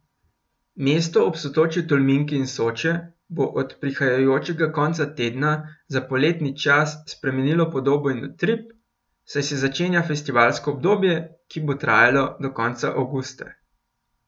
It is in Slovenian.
Mesto ob sotočju Tolminke in Soče bo od prihajajočega konca tedna za poletni čas spremenilo podobo in utrip, saj se začenja festivalsko obdobje, ki bo trajalo do konca avgusta.